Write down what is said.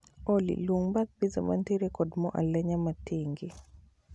Olly, luong bath piza mantiere kod mor alenya matenge